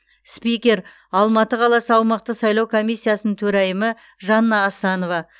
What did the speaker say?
спикер алматы қаласы аумақтық сайлау комиссиясының төрайымы жанна асанова